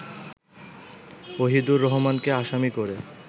ওহিদুর রহমানকে আসামি করে